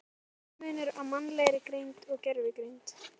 Er eðlismunur á mannlegri greind og gervigreind?